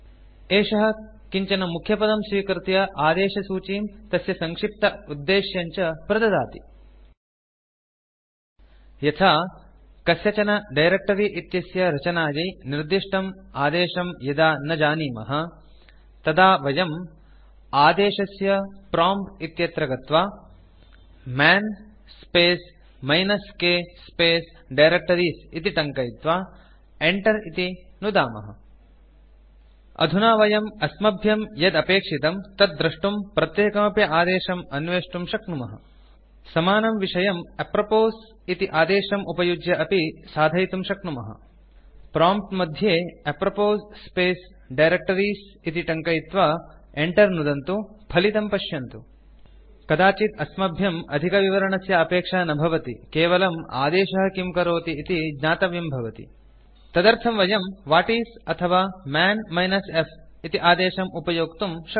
एषः किञ्चन मुख्यपदं स्वीकृत्य आदेशसूचीं तस्य सङ्क्षिप्त उद्देश्यम् च प्रददाति यथा कस्यचन डायरेक्ट्री इत्यस्य रचनायै निर्दिष्टम् आदेशं यदा न जानीमः तदा वयम् आदेशस्य प्रॉम्प्ट् इत्यत्र गत्वा man space minus k space directories इति टङ्कयित्वा enter इति नुदामः अधुना वयम् अस्मभ्यं यद् अपेक्षितं तत् द्रष्टुं प्रत्येकमपि आदेशम् अन्वेष्टुं शक्नुमः समानं विषयं अप्रोपोस् इति आदेशम् उपयुज्य अपि साधयितुं शक्नुमः प्रॉम्प्ट् मध्ये अप्रोपोस् स्पेस् डायरेक्टरीज़ इति टङ्कयित्वा enter नुदन्तु फलितं पश्यन्तु कदाचित् अस्मभ्यम् अधिकविवरणस्य अपेक्षा न भवति केवलम् आदेशः किं करोति इति ज्ञातव्यं भवति तदर्थं वयं व्हाटिस् अथवा मन् -f इति आदेशम् उपयोक्तुं शक्नुमः